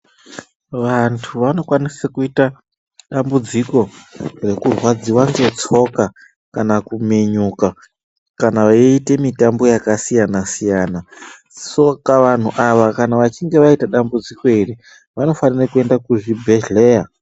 Vantu vanokwanisa kuita dambudziko rekurwadziwa ngetsoka kana kuminyuka kana veiite mitambo yakasiyana siyana Saka vanhu ava vachinge vaita dambudziko iri vanofanira kuenda kuzvibhedhera.